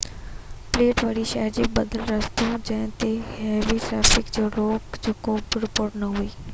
belt way شهر جو بدل رستو جنهن تي هيوي ٽرئفڪ جي روڪ جي ڪو بہ رپورٽ نہ هئي